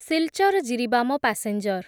Silchar Jiribam passenger